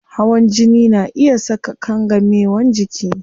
Hawan jini na iya saka kangamewan jiki